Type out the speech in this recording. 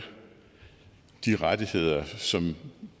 de rettigheder som